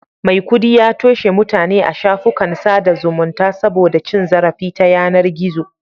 Maikudi ya toshe mutane a shafukan sada zumunta saboda cin zarafi ta yanar gizo